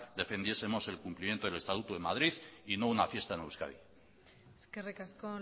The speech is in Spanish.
defendiesemos el cumplimiento del estatuto en madrid y no una fiesta en euskadi eskerrik asko